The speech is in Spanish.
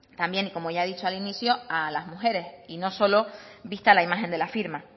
también y como ya he dicho al inicio a las mujeres y no solo vista la imagen de la firma